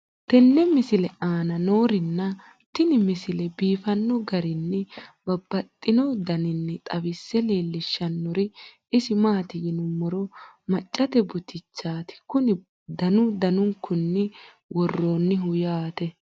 tenne misile aana noorina tini misile biiffanno garinni babaxxinno daniinni xawisse leelishanori isi maati yinummoro maccatte butichaatti Kuni danu danunkunni woroonnihu yaatte